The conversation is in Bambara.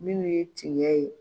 Minnu ye tiɲɛ ye.